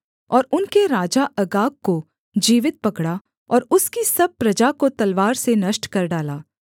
और उनके राजा अगाग को जीवित पकड़ा और उसकी सब प्रजा को तलवार से नष्ट कर डाला